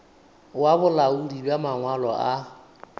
wa bolaodi bja mangwalo a